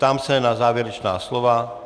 Ptám se na závěrečná slova.